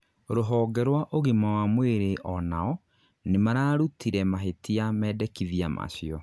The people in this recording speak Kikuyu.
rũhonge rwa ũgima wa mwĩrĩ onao nĩmararũtire mahĩtia mendekithia macio